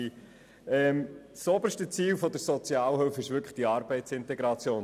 Das oberste Ziel der Sozialhilfe ist die Arbeitsintegration.